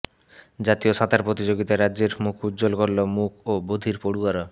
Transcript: জাতীয় সাঁতার প্রতিযোগিতায় রাজ্যের মুখ উজ্জ্বল করল মূক ও বধির পড়ুয়ারা